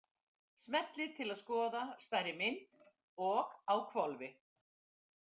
Smellið til að skoða stærri mynd- og á hvolfi!